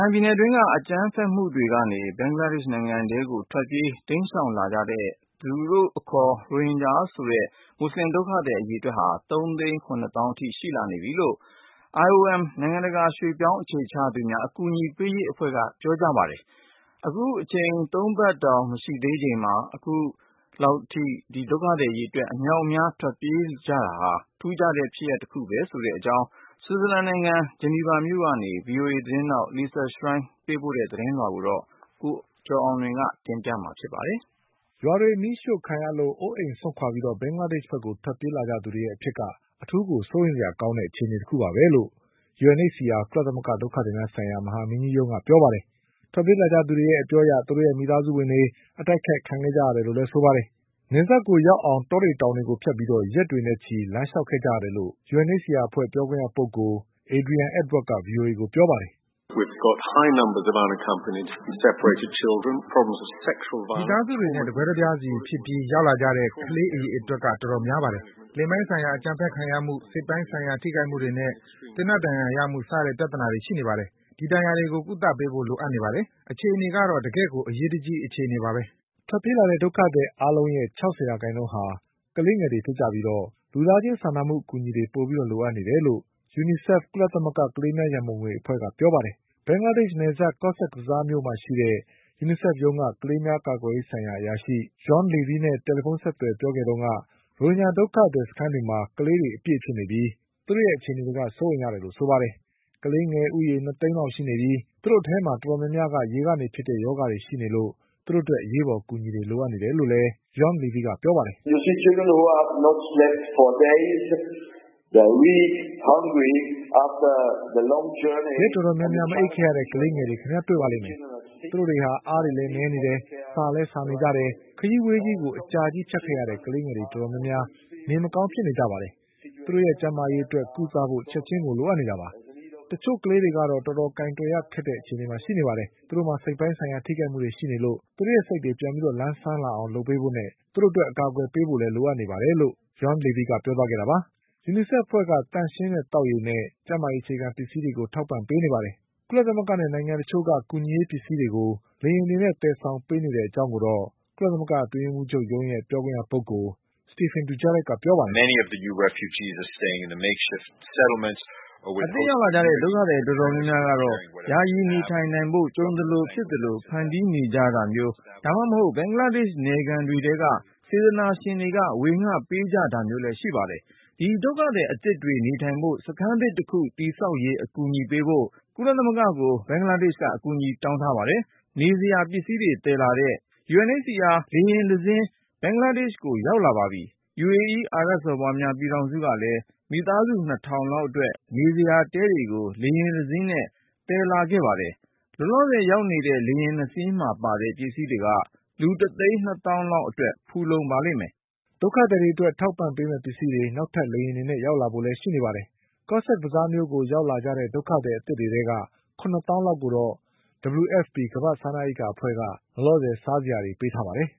င်ပြည်နယ် အတွင်းက အကြမ်းဖက်မှုတွေ ကနေ ဘင်္ဂလားဒေ့ရှ် နိုင်ငံထဲကို ထွက်ပြေး တိမ်းရှောင်လာကြတဲ့သူတို့ကိုယ်သူတို့ ရိုဟင်ဂျာလို့ ခေါ်တဲ့ မူဆလင် ဒုက္ခသည် အရေအတွက်ဟာ ၃ သိန်း ၇ သောင်း အထိ ရှိလာခဲ့ပြီလို့ IOM နိုင်ငံ တကာ ရွှေ့ပြောင်းအခြေချသူများ အကူညီပေးရေး အဖွဲ့က ပြောပါတယ်။ အချိန် ၃ ပတ်တောင် မရှိသေးခင်မှာ အခု လောက်အထိ ဒုက္ခသည် အရေအတွက် အမြောက်အများ ထွက်ပြေးလာကြတာဟာ ထူးခြားတဲ့ ဖြစ်ရပ်တခုပဲ ဆိုတဲ့ အကြောင်း ဆွစ်ဇာလန်နိုင်ငံ ဂျနီဗာမြို့ကနေ ဗွီအိုအေ သတင်းထောက် Lisa Schlein သတင်းပေးပို့ ထားတာကို ကိုကျော်အောင်လွင်က ပြောပြပါလိမ့်မယ်။ ရွာတွေမီးရှို့ခံရလို့ အိုးအိမ်စွန့်ခွာပြီး ဘင်္ဂလားဒေ့ချ်ဘက် ထွက်ပြေးလာကြတဲ့ သူတွေရဲ့ အဖြစ်က အထူးကို စိုးရိမ်စရာ ကောင်းတဲ့ အခြေအနေ တခုပဲလို့ UNHCR ကုလသမဂ္ဂ ဒုက္ခသည်များ ဆိုင်ရာ မဟာမင်းကြီးရုံးက ပြောပါတယ်။ ထွက် ပြေးလာသူတွေ အပြောအရ သူတို့ မိသားစုဝင်တွေ အတိုက်အခိုက် ခံခဲ့ရတယ်လို့ ဆိုပါတယ်။ နယ်စပ်ကိုရောက်အောင် တောတွေ တောင်တွေကို ဖြတ်ပြီး ရက်တွေနဲ့ချီ လမ်းလျှောက်ခဲ့ကြရတယ်လို့ UNHCR အဖွဲ့ ပြောခွင့်ရ ပုဂ္ဂိုလ် Adrian Edward က ဗွီအိုအေကို ပြောပါတယ်။ “ မိသားစုတွေနဲ့ တကွဲတပြားစီ ဖြစ်ပြီး ရောက်လာကြတဲ့ ကလေး အရေအတွက်က တော်တော်များပါတယ်။ လိင်ပိုင်းဆိုင်ရာ အကြမ်းဖက်ခံရမှု၊ စိတ်ပိုင်းဆိုင်ရာ ထိခိုက်မှုတွေနဲ့ သေနတ် ဒဏ်ရာရမှု စတဲ့ ပြဿနာတွေ ရှိနေပါတယ်။ ဒီ ဒဏ်ရာတွေကို ကုသပေးဖို့ လိုအပ်နေပါတယ်။ အခြေအနေ ကတော့ တကယ့်ကို အရေးတကြီး အခြေအနေပါပဲ။” ထွက်ပြေးလာတဲ့ ဒုက္ခသည် အားလုံးရဲ့ ၆၀ ရာခိုင်နှုန်းက ကလေးငယ်တွေ ဖြစ်ကြပြီး လူသားချင်း စာနာမှု အကူအညီတွေ ပိုပြီး လိုအပ်နေတယ်လို့ UNICEF ကုလသမဂ္ဂ ကလေးများ ရံပုံငွေ အဖွဲ့က ပြောပါတယ်။ ဘင်္ဂလားဒေ့ချ် နယ်စပ် Cox’s Bazar မြို့မှာ ရှိတဲ့ UNICEF ရုံးက ကလေးများ ကာကွယ်ရေးဆိုင်ရာ အရာရှိ Jean Lieby နဲ့ တယ်လီဖုန်းဆက်ပြီး ပြောခဲ့တုန်းက ရိုဟင်ဂျာ ဒုက္ခသည် စခန်းတွေမှာ ကလေးတွေ အပြည့်ဖြစ်နေပြီး သူတို့ အခြေအနေတွေက စိုးရိမ်ရတယ်လို့ ဆိုပါတယ်။ ကလေးငယ် ၂ သိန်းလောက် ရှိနေပြီး သူတို့အထဲမှာ တော်တော်များများက ရေကနေဖြစ်တဲ့ ရောဂါတွေ ရှိနေလို့ သူတို့ အတွက် အရေးပေါ် အကူအညီတွေ လိုအပ်နေတယ်လို့လည်း Jean Lieby က ပြောပါတယ်။ “ ရက်တော်တော်များများ မအိပ်ခဲ့ရတဲ့ ကလေးတွေ၊ သူတို့တွေ အားတွေလည်း နည်းနေတယ်။ ဆာလည်း ဆာနေကြတယ်။ ခရီးဝေးကြီးကို အကြာကြီး ဖြတ်ခဲ့ရတဲ့ ကလေးငယ်တွေ တော်တော်များများ နေမကောင်း ဖြစ်နေကြတယ်။ သူတို့ရဲ့ ကျန်းမာရေးအတွက် ကုသဖို့ချက်ချင်းကို လိုအပ်နေတာပါ။ တချို့ ကလေးတွေ ကတော့ တော်တော် ကိုင်တွယ်ရ ခက်တဲ့ အခြေအနေမှာ ရှိနေတယ်။ စိတ်ပိုင်းဆိုင်ရာ ထိခိုက်မှုတွေ ရှိနေလို့သူတို့ရဲ့စိတ်တွေ ပြန်လည် လန်းဆန်းလာအောင် လုပ်ပေးဖို့နဲ့ သူတို့အတွက် အကာအကွယ် ပေးဖို့ လိုအပ်နေပါတယ်။ ” UNICEF အဖွဲ့က သန့်ရှင်းတဲ့ သောက်ရေနဲ့ ကျန်းမာရေး အခြေခံ ပစ္စည်းတွေ ထောက်ပံ့ နေပါတယ်။ ကုလသမဂ္ဂနဲ့နိုင်ငံတချို့က ကူညီရေး ပစ္စည်းတွေ လေယာဉ်တွေနဲ့ သယ်ဆောင်ပြီး ပေးနေတဲ့ အကြောင်းကိုတော့ ကုလသမဂ္ဂ အတွင်းရေးမှူး ချုပ်ရဲ့ ပြောခွင့်ရပုဂ္ဂိုလ် Stephane Dujarric ကပြောပါတယ်။ “ အသစ် ရောက်လာကြတဲ့ ဒုက္ခသည် တော်တော်များများ ကတော့ ယာယီ နေထိုင်နိုင်ဖို့ ကြုံသလို ဖြစ်သလို ဖန်တီးပြီး နေကြတာမျိုး ဒါမှမဟုတ် ဘင်္ဂလားဒေ့ချ် နယ်ခံတွေ ထဲက စေတနာရှင်တွေက ဝေငှပေးကြတာမျိုးတွေ ရှိနေပါတယ်။ ဒီဒုက္ခသည် အသစ်တွေ နေထိုင်ဖို့စခန်းသစ် တခု တည်ဆောက်ရေး အကူအညီပေးဖို့ကုလသမဂ္ဂကို ဘင်္ဂလားဒေ့ချ်က အကူအညီ တောင်းထားပါတယ်။ အိပ်စရာနဲ့ နေစရာ ပစ္စည်းတွေ သယ်လာတဲ့ UNHCR လေယာဉ်တစီး ဘင်္ဂလားဒေ့ချ်ကို ရောက်လာပါပြီ။ UAE အာရပ် စော်ဘွားများ ပြည်ထောင်စု ကလည်း မိသားစု ၂ ထောင်လောက် အတွက် နေစရာ တဲတွေကို လေယာဉ် တစီးနဲ့ သယ်လာခဲ့ပါပြီ။ လောလောဆယ် ရောက်နေတဲ့ လေယာဉ် ၂ စီးမှာ ပါတဲ့ ပစ္စည်းတွေက လူ ၁ သိန်း ၂ သောင်းလောက် အတွက် ဖူလုံ ပါလိမ့်မယ်။” အထောက်အပံ့ ပေးမယ့် ပစ္စည်းတွေ နောက်လေယာဉ်တွေနဲ့ လည်း ရောက်လာဖို့ ရှိနေပါတယ်။ Cox’s Bazar မြို့ကို ရောက်လာကြတဲ့ ဒုက္ခသည် အသစ်တွေထဲက ၇ သောင်းလောက် ကိုတော့ WFP ကမ္ဘာ့ စားနပ်ရိက္ခာ အဖွဲ့က စားစရာတွေ ပေးထား ပါတယ်